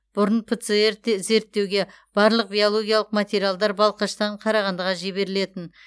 бұрын пцр зерттеуге барлық биологиялық материалдар балқаштан қарағандыға жіберілетін